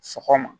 Sɔgɔma